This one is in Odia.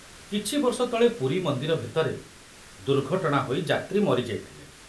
କିଛି ବର୍ଷ ତଳେ ପୁରୀ ମନ୍ଦିର ଭିତରେ ଦୁର୍ଘଟଣା ହୋଇ ଯାତ୍ରୀ ମରି ଯାଇଥିଲେ।